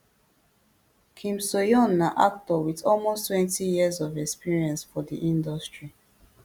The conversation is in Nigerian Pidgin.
kim soohyun na actor wit almost twenty years of experience for di industry